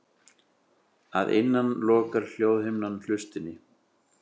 Að innan lokar hljóðhimnan hlustinni.